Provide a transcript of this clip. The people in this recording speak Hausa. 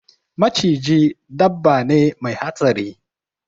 Maciji dabba ne Mai hatsari.